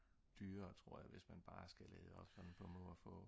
dyrere tror jeg hvis man bare skal lade op sådan på må og få